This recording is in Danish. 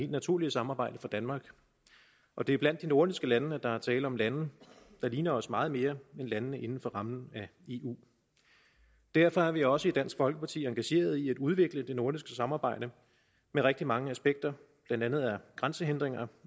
naturlige samarbejde for danmark og det er blandt de nordiske lande at der er tale om lande der ligner os meget mere end landene inden for rammen af eu derfor er vi også i dansk folkeparti engageret i at udvikle det nordiske samarbejde med rigtig mange aspekter blandt andet er grænsehindringer